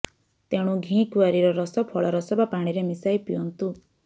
ତେଣୁ ଘି କୁଆଁରୀର ରସ ଫଳରସ ବା ପାଣିରେ ମିଶାଇ ପିଅନ୍ତୁ